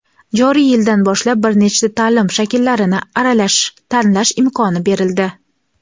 Joriy yildan boshlab bir nechta taʼlim shakllarini aralash tanlash imkoni berildi.